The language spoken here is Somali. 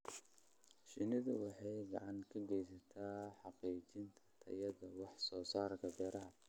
Shinnidu waxay gacan ka geysataa hagaajinta tayada wax soo saarka beeraha.